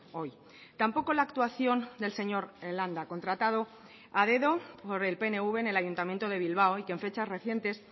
hoy tampoco la actuación del señor landa contratado a dedo por el pnv en el ayuntamiento de bilbao y que en fechas recientes